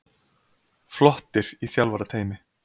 Flottir í þjálfarateymi.